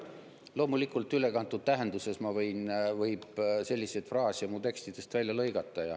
Loomulikult, ülekantud tähenduses võib selliseid fraase mu tekstidest välja lõigata.